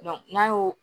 n'a y'o